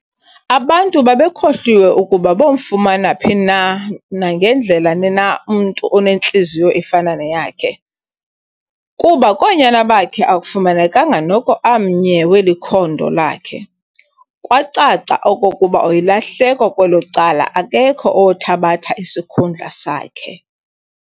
Abantu babekhohliwe ukuba bomfumana phi na nangandlela ni na umntu onentliziyo efana neyakhe, kuba koonyana bakhe akufumanekanga noko amnye weli khondo lakhe, kwacaca okokuba yilahleko kwelo cala akakho owothabatha isikhundla sakhe.